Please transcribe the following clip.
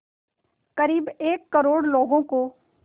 क़रीब एक करोड़ लोगों को